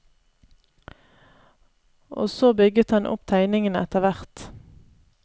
Og så bygget han opp tegningen etter hvert.